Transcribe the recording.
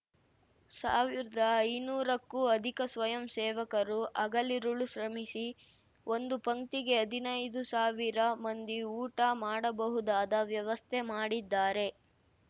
ಸಾವಿರ್ದಾಐನೂರಕ್ಕೂ ಅಧಿಕ ಸ್ವಯಂ ಸೇವಕರು ಹಗಲಿರುಳು ಶ್ರಮಿಸಿ ಒಂದು ಪಂಕ್ತಿಗೆ ಹದಿನೈದು ಸಾವಿರ ಮಂದಿ ಊಟ ಮಾಡಬಹುದಾದ ವ್ಯವಸ್ಥೆ ಮಾಡಿದ್ದಾರೆ